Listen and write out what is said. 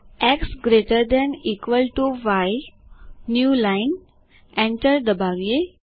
x greater than equal to y new lineએન્ટર દબાવીએ